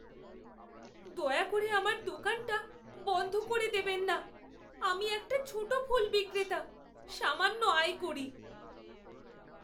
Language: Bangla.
দয়া করে আমার দোকানটা বন্ধ করে দেবেন না। আমি একটা ছোট ফুল বিক্রেতা, সামান্য আয় করি।